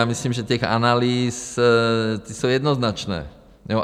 Já myslím, že těch analýz, ty jsou jednoznačné.